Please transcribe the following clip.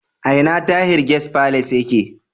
A ina Tahir Guest Palace yake?